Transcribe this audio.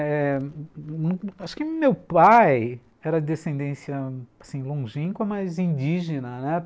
Eh... Acho que meu pai era de descendência assim longínqua, mas indígena, né.